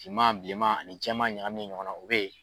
Finma bilenma ani jɛma ɲagaminen ɲɔgɔn na o bɛ yen.